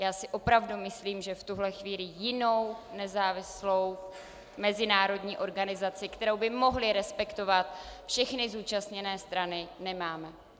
Já si opravdu myslím, že v tuhle chvíli jinou nezávislou mezinárodní organizaci, kterou by mohly respektovat všechny zúčastněné strany, nemáme.